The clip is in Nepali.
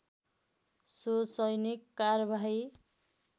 सो सैनिक कारबाही